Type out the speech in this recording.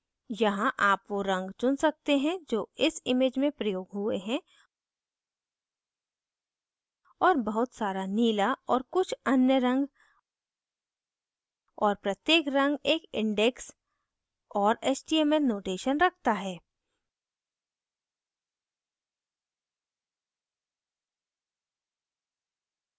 यहाँ आप वो रंग चुन सकते हैं जो इस image में प्रयोग हुए हैं और बहुत सारा नीला और कुछ अन्य रंग और प्रत्येक रंग एक index और html notation रखता है